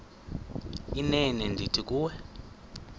inene ndithi kuwe